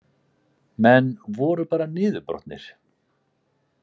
Menn voru bara niðurbrotnir